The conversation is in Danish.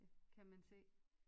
Kan man se